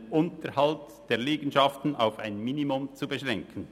] den Unterhalt der Liegenschaften auf ein Minimum zu beschränken.